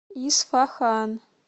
исфахан